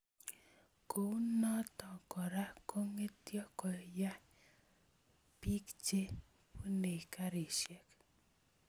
Kounoto Kora kongetyo koya bik che bunei garisiek